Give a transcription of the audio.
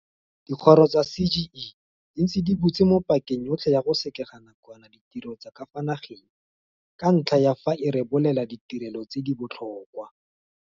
Dikgoro tsa CGE di ntse di butse mo pakeng yotlhe ya go sekega nakwana ditiro tsa ka fa nageng ka ntlha ya fa e rebolela ditirelo tse di botlhokwa.